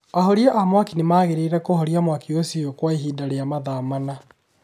Ahoria a mwaki nĩ maageririe kũhoria mwaki ũcio kwa ihinda rĩa mathaa mana.